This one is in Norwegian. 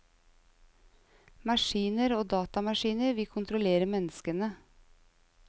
Maskiner og datamaskiner vil kontrollere menneskene.